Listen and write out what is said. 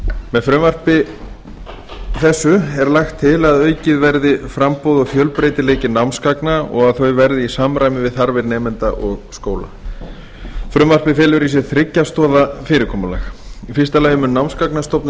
með frumvarpi þessu er lagt til að aukið verði framboð og fjölbreytileiki námsgagna og að þau verði í samræmi við þarfir nemenda og skóla frumvarpið felur í sér þriggja stoða fyrirkomulag í fyrsta lagi mun námsgagnastofnun